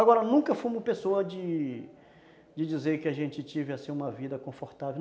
Agora, nunca fomos pessoas de dizer, de dizer que a gente teve uma vida confortável.